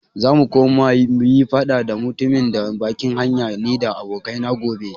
Zamu koma muyi faɗa da mutumin na bakin hanya nida abokai na gobe.